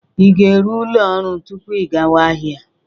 Ị ga-eru ụlo orụ tupu ị gawa ahịa?